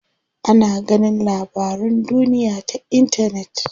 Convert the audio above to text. Ana ganin labarun duniya ta intanet.